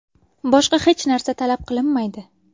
Boshqa hech narsa talab qilinmaydi.